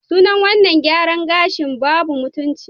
Sunan wannan gyaran gashin "babu mutunci"